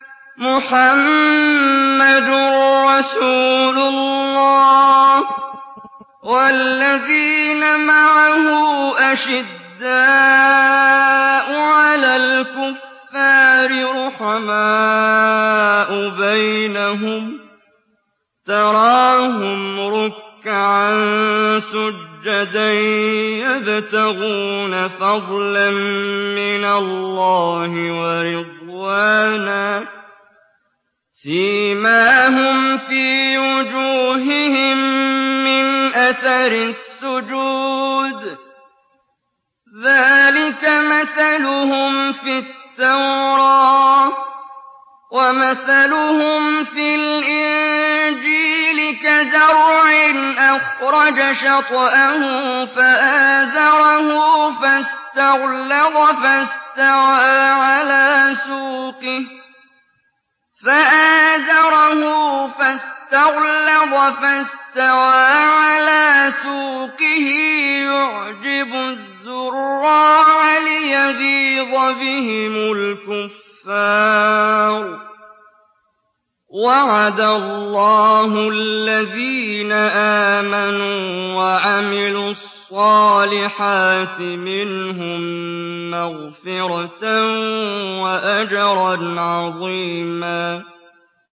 مُّحَمَّدٌ رَّسُولُ اللَّهِ ۚ وَالَّذِينَ مَعَهُ أَشِدَّاءُ عَلَى الْكُفَّارِ رُحَمَاءُ بَيْنَهُمْ ۖ تَرَاهُمْ رُكَّعًا سُجَّدًا يَبْتَغُونَ فَضْلًا مِّنَ اللَّهِ وَرِضْوَانًا ۖ سِيمَاهُمْ فِي وُجُوهِهِم مِّنْ أَثَرِ السُّجُودِ ۚ ذَٰلِكَ مَثَلُهُمْ فِي التَّوْرَاةِ ۚ وَمَثَلُهُمْ فِي الْإِنجِيلِ كَزَرْعٍ أَخْرَجَ شَطْأَهُ فَآزَرَهُ فَاسْتَغْلَظَ فَاسْتَوَىٰ عَلَىٰ سُوقِهِ يُعْجِبُ الزُّرَّاعَ لِيَغِيظَ بِهِمُ الْكُفَّارَ ۗ وَعَدَ اللَّهُ الَّذِينَ آمَنُوا وَعَمِلُوا الصَّالِحَاتِ مِنْهُم مَّغْفِرَةً وَأَجْرًا عَظِيمًا